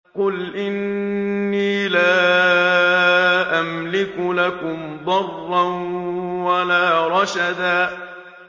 قُلْ إِنِّي لَا أَمْلِكُ لَكُمْ ضَرًّا وَلَا رَشَدًا